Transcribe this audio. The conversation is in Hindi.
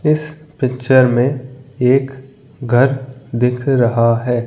इस पिक्चर में एक घर दिख रहा है।